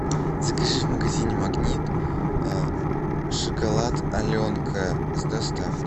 закажи в магазине магнит шоколад аленка с доставкой